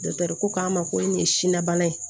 ko k'a ma ko nin ye silabana ye